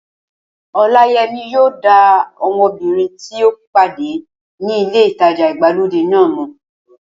Ọláyẹmí yóò dá ọmọbìnrin tí ó pàdé ní ilé ìtajà ìgbàlódé náà mọ̀